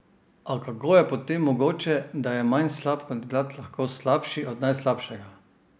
A kako je potem mogoče, da je manj slab kandidat lahko slabši od najslabšega?